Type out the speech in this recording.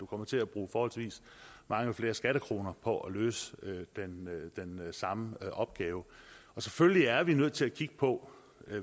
kommer til at bruge forholdsvis mange flere skattekroner på at løse den samme opgave selvfølgelig er vi nødt til at kigge på